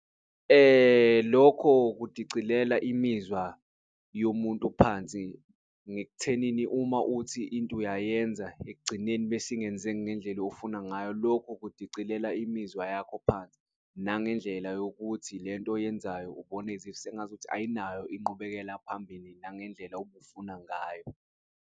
Lokho kudicilela imizwa yomuntu phansi ngek'thenini, uma uthi into uyayenza ekugcineni besingenzeki ngendlela ofuna ngayo, lokhu ukudicilela imizwa yakho phansi. Nangendlela yokuthi lento oyenzayo ubona as if sengazuthi ayinayo inqubekela phambili nangendlela obufuna ngayo.